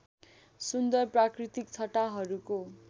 सुन्दर प्राकृतिक छटाहरूको